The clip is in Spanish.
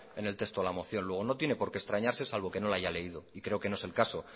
en el texto de la moción luego no tiene por qué extrañarse salvo que no la haya leído y creo que no es el caso